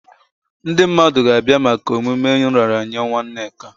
Ndị mmadụ ga-abịa maka emume nraranye nwa Nneka.